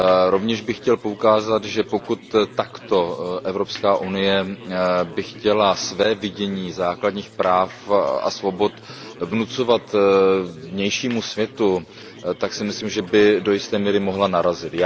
Rovněž bych chtěl poukázat, že pokud by Evropská unie chtěla své vidění základních práv a svobod takto vnucovat vnějšímu světu, tak si myslím, že by do jisté míry mohla narazit.